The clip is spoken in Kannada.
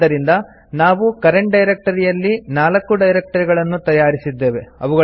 ಆದ್ದರಿಂದ ನಾವು ಕರೆಂಟ್ ಡೈರೆಕ್ಟರಿಯಲ್ಲಿ 4 ಡೈರಕ್ಟರಿಗಳನ್ನು ತಯಾರಿಸಿದ್ದೇವೆ